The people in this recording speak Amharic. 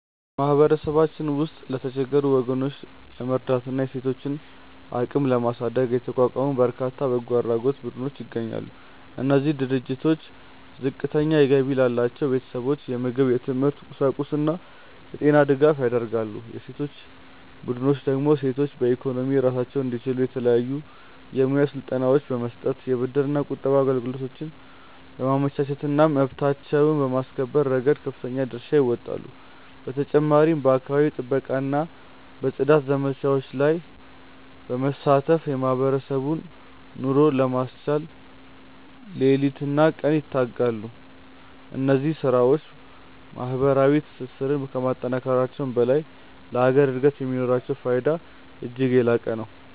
በማህበረሰባችን ውስጥ የተቸገሩ ወገኖችን ለመርዳትና የሴቶችን አቅም ለማሳደግ የተቋቋሙ በርካታ የበጎ አድራጎት ቡድኖች ይገኛሉ። እነዚህ ድርጅቶች ዝቅተኛ ገቢ ላላቸው ቤተሰቦች የምግብ፣ የትምህርት ቁሳቁስና የጤና ድጋፍ ያደርጋሉ። የሴቶች ቡድኖች ደግሞ ሴቶች በኢኮኖሚ ራሳቸውን እንዲችሉ የተለያዩ የሙያ ስልጠናዎችን በመስጠት፣ የብድርና ቁጠባ አገልግሎቶችን በማመቻቸትና መብታቸውን በማስከበር ረገድ ከፍተኛ ድርሻ ይወጣሉ። በተጨማሪም በአካባቢ ጥበቃና በጽዳት ዘመቻዎች ላይ በመሳተፍ የማህበረሰቡን ኑሮ ለማሻሻል ሌሊትና ቀን ይተጋሉ። እነዚህ ስራዎች ማህበራዊ ትስስርን ከማጠናከራቸውም በላይ ለሀገር እድገት የሚኖራቸው ፋይዳ እጅግ የላቀ ነው።